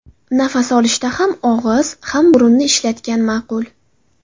Nafas olishda ham og‘iz, ham burunni ishlatgan ma’qul.